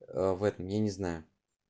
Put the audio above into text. ээ в этом я не знаю